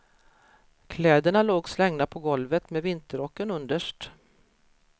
Kläderna låg slängda på golvet med vinterrocken underst.